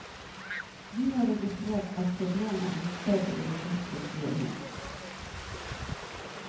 Vi har registrert at problemet er blitt større i det siste, sier hun.